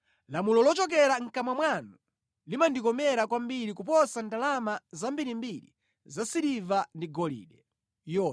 Lamulo lochokera mʼkamwa mwanu limandikomera kwambiri kuposa ndalama zambirimbiri za siliva ndi golide.